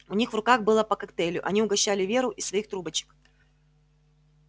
у них в руках было по коктейлю они угощали веру из своих трубочек